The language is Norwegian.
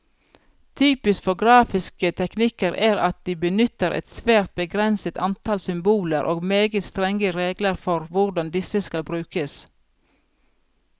Typisk for grafiske teknikker er at de benytter et svært begrenset antall symboler, og meget strenge regler for hvordan disse skal brukes.